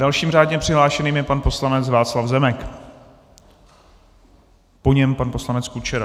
Dalším řádně přihlášeným je pan poslanec Václav Zemek, po něm pan poslanec Kučera.